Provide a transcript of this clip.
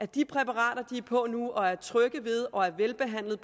de præparater de er på nu og er trygge ved og er velbehandlede